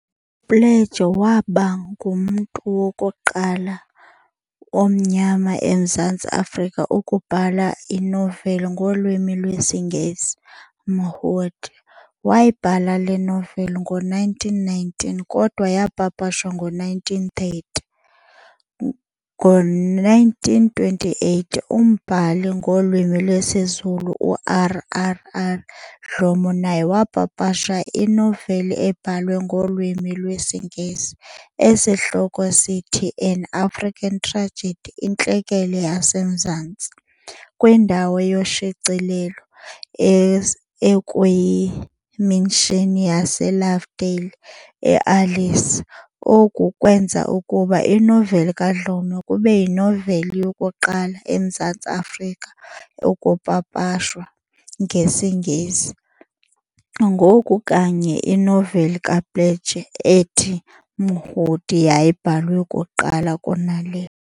UPlaatje wabangumntu wokuqala omnyama emZantsi afrika ukubhala inoveli ngolwimi lwesiNgesi - "Mhudi". wayibhala le noveli ngo-1919, kodwa yaapapashwa ngo-1930, ngo-1928 umbhali ngolwimi lwesiZulu uR. R. R. Dhlomo naye waapapasha inoveli ebhalwe ngolwimi lwesiNgesi, esihloko sayo sithi "An African Tragedy - Intlekele yaseMzantsi", kwindawo yoshicilelo ekuyimishini yaseLovedale, eAlice, oku kweenza ukuba inoveli kaDlomo kube yinoveli yokuqala emZantsi Afrika ukupapashwa ngesiNgesi, ngoku kanye inoveli kaPlaatjie ethi"Mhudi" yayibhalwe kuqala kuna le.